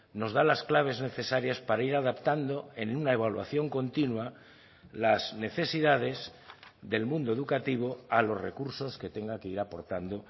nos da las claves necesarias para ir adaptando en una evaluación continua las necesidades del mundo educativo a los recursos que tenga que ir aportando